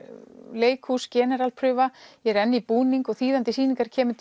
leikhús generalprufa ég er enn í búning og þýðandi sýningar kemur